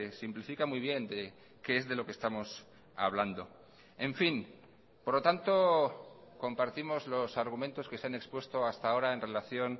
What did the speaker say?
simplifica muy bien de qué es de lo que estamos hablando en fin por lo tanto compartimos los argumentos que se han expuesto hasta ahora en relación